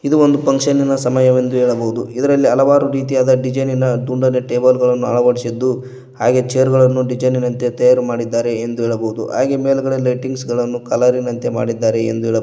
ಇದು ಒಂದು ಫಂಕ್ಷನಿನ ಸಮಯವೆಂದು ಹೇಳಬೋದು ಇದರಲ್ಲಿ ಹಲವಾರು ರೀತಿಯಾದ ಡಿಸೈನಿನ ತುಂಡನೆ ಟೇಬಲ್ ಗಳನ್ನು ಅಳವಡಿಸಿದ್ದು ಹಾಗೆ ಚೇರ್ ಗಳನ್ನು ಡಿಸೈನ್ ಇನಂತೆ ತಯಾರು ಮಾಡಿದ್ದಾರೆ ಎಂದು ಹೇಳಬಹುದು ಹಾಗೆ ಮೇಲುಗಡೆ ಲೈಟಿಂಗ್ಸ್ ಗಳನ್ನು ಕಲರಿನಂತೆ ಮಾಡಿದ್ದಾರೆ ಎಂದು ಹೇಳಬೋ--